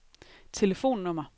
telefonnummer